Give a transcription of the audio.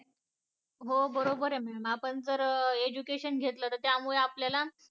हो बरबर आहे ma'am आप जर education घेतलं तो त्यामुळे आपल्याला